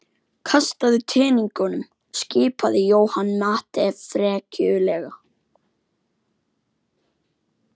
Kastaðu teningunum skipaði Johnny Mate frekjulega.